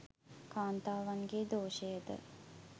කාන්තාවන්ගේ් දෝෂයද